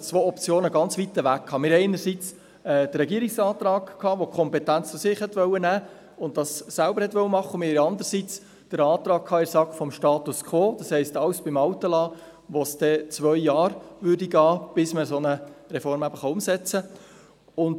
zwei Optionen, die ganz weit weg voneinander entfernt waren: Wir hatten einerseits den Regierungsantrag, der die Kompetenz zu sich nehmen und dies selber tun wollte, und wir hatten in der SAK andererseits den Antrag auf Status quo, das heisst, alles beim Alten zu belassen, wobei es zwei Jahre dauern würde, bis man eine solche Reform umsetzen kann.